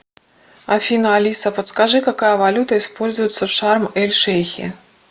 афина алиса подскажи какая валюта используется в шарм эль шейхе